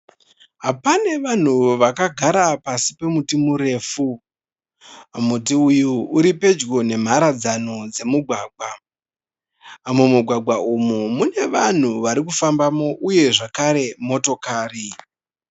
Pane vanhu vakagara pasi pemuti murefu. Muti uyu uripedyo nemharadzano dzemugwagwa. Mumugwagwa uyu une vanhu varikufambamo uye zvakare motokari.